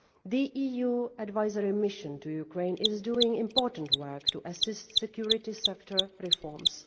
The EU Advisory Mission to Ukraine is doing important work to assist security sector reforms.